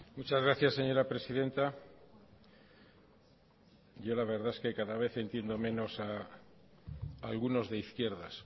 muchas gracias señora presidenta yo la verdad es que cada vez entiendo menos a algunos de izquierdas